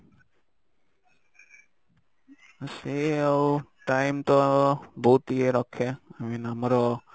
ହଁ ସେଇ ଆଉ time ତ ବହୁତ୍ ଇଏ ରଖେ i mean ଆମର